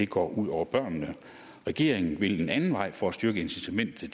går ud over børnene regeringen vil gå en anden vej for at styrke incitamentet til